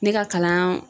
Ne ka kalan